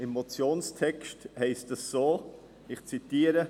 Im Motionstext steht, ich zitiere: